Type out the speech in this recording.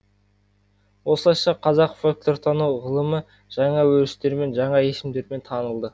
осылайша қазақ фольклортану ғылымы жаңа өрістерімен жаңа есімдермен танылды